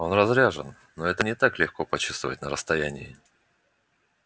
он разряжен но это не так-то легко почувствовать на расстоянии